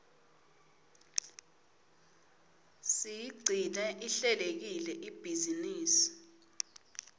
siyigcine ihlelekile ibhizinisi